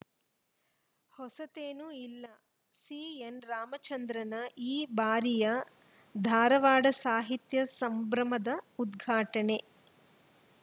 ಹೊಸತೇನೂ ಇಲ್ಲ ಸಿಎನ್‌ ರಾಮಚಂದ್ರನ ಈ ಬಾರಿಯ ಧಾರವಾಡ ಸಾಹಿತ್ಯ ಸಂಭ್ರಮದ ಉದ್ಘಾಟನೆ